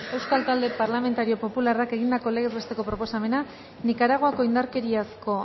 euskal talde parlamentario popularrak egindako legez besteko proposamena nikaraguako indarkeriazko